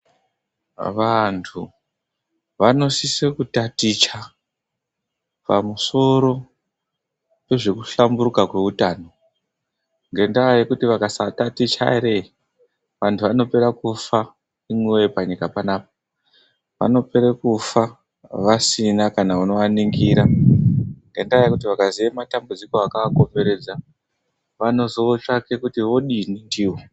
Vanthu vanosisa kutaticha pamusoro pezve kuhlamburuka kweutano ngenda yekuti vakasataticha vanthu vanopera kufa vasina kana unovaningira .Vakaziya matambudziko akavakomberedza vanozotsvaka kuti vodini ndiwo.